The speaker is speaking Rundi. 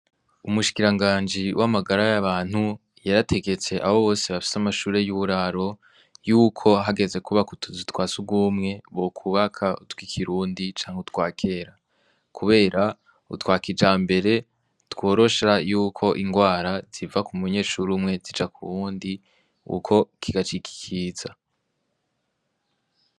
Umushikiranganje w'amagara y'abantu ,yarategetse abo bose bafise amashure y'uburaro, yuko hageze kubaka utuzu twa sugumwe yuko bokubaka utw'ikirundi, canke utwakera, kubera utwa kijambere tworosha y'uko ingwara ziva k'umunyeshure umwe zija k'uwundi, uko kigacik'ikiza.